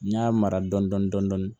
N y'a mara dɔɔnin dɔɔnin